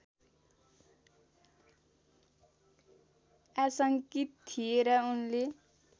आशङ्कित थिए र उनले